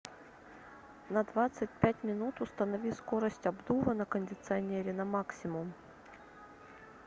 на двадцать пять минут установи скорость обдува на кондиционере на максимум